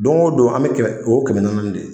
Don o don an bɛ o kɛmɛ naani naani de ye